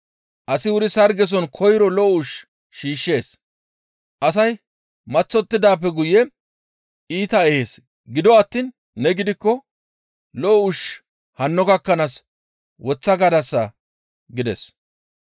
«Asi wuri sargeson koyro lo7o ushshu shiishshees; asay maththottidaappe guye iitaa ehees; gido attiin ne gidikko lo7o ushshu hanno gakkanaas woththaa gadasa» gides.